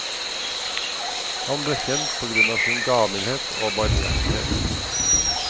Han ble kjent på grunn av sin gavmildhet og barmhjertighet.